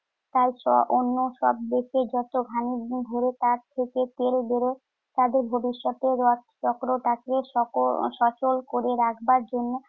তাইতো অন্য সবদিকে যত ঘানি ঘুরে তার থেকে তেল বেরোয়। তাদের ভবিষ্যতের তাকে সক~ সফল করে রাখবার জন্য